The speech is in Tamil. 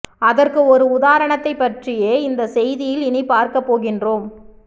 அதற்கு ஒரு உதாரணத்தை பற்றியே இந்த செய்தியில் இனி பார்க்க போகின்றோம்